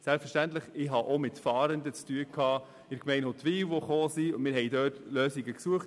Selbstverständlich hatte ich auch in der Gemeinde Huttwil mit Fahrenden zu tun und im Gespräch nach Lösungen gesucht.